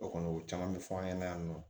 O kɔni o caman bɛ fɔ an ɲɛna yan nɔ